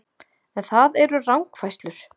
En það eru rangfærslur